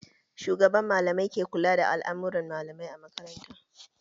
Shugaban malamai ke kula da all'amuran malamai a makaranta